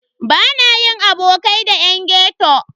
Bana yin abokai da yan ghetto.